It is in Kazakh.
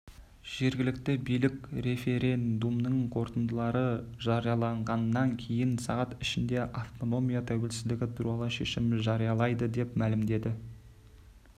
жергілікті билік референдумның қорытындылары жарияланғаннан кейін сағат ішінде автономия тәуелсіздігі туралы шешім жариялайды деп мәлімдеді